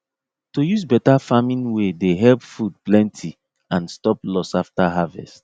to use better farming way dey help food plenty and stop loss after harvest